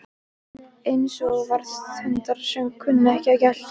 Eins og varðhundar sem kunna ekki að gelta